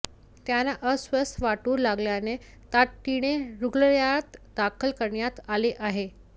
त्यांना अस्वस्थ वाटू लागल्याने तातडीने रूग्णालयात दाखल करण्यात आले आहे